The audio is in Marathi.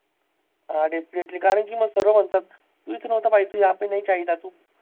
हा definitely कारण कि मग सरळ म्हणतात. तू इथं नव्हता पाहिजे, तू याह पे नाही चाहिये था